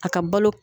A ka balo